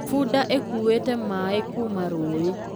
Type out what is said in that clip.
Bunda ĩkuĩte maĩ kuma rũĩ